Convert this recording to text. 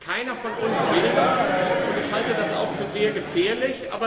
Keiner von uns will das, und ich halte das auch für sehr gefährlich.